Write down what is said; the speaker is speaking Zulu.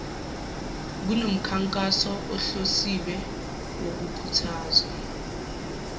kunomkhankaso ohlosiwe wokukhuthaza